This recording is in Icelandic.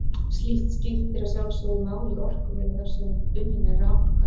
Slíkt skiptir að sjálfsögðu máli í orkuveri þar sem unnin er raforka.